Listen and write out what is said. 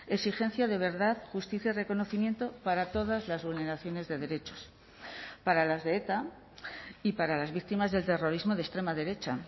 exigencia de verdad justicia y reconocimiento para todas las vulneraciones de derechos para las de eta y para las víctimas del terrorismo de extrema derecha